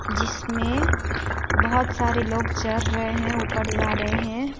जिसमें बहुत सारे लोग चढ़ रहे हैं ऊपर जा रहे हैं।